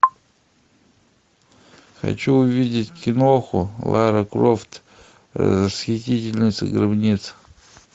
хочу увидеть киноху лара крофт расхитительница гробниц